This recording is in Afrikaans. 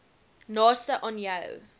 naaste aan jou